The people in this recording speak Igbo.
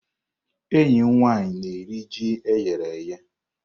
Enyi m nwanyi na-eri ji e ghere eghe.